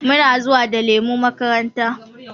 Muna zuwa da lemu makaranta.